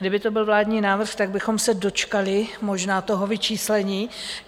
Kdyby to byl vládní návrh, tak bychom se dočkali možná toho vyčíslení.